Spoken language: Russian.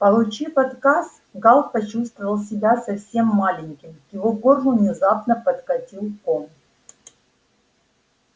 получив отказ гаал почувствовал себя совсем маленьким к его горлу внезапно подкатил ком